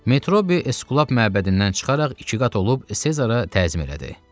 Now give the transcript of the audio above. Metrobi Esblap məbədindən çıxaraq iki qat olub Sezara təzim elədi.